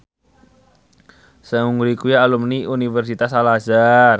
Seungri kuwi alumni Universitas Al Azhar